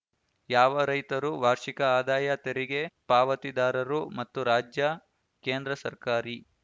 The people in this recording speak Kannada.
ಯಾವ ರೈತರು ವಾರ್ಷಿಕ ಆದಾಯ ತೆರಿಗೆ ಪಾವತಿದಾರರು ಮತ್ತು ರಾಜ್ಯ ಕೇಂದ್ರ ಸರ್ಕಾರಿ